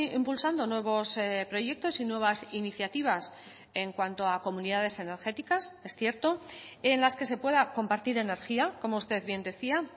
impulsando nuevos proyectos y nuevas iniciativas en cuanto a comunidades energéticas es cierto en las que se pueda compartir energía como usted bien decía